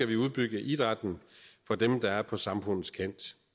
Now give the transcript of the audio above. vi udbygge idrætten for dem der er på samfundets kant